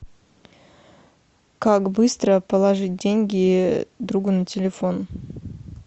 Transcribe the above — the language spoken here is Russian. как быстро положить деньги другу на телефон